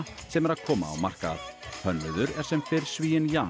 sem er að koma á markað hönnuður er sem fyrr Svíinn Jan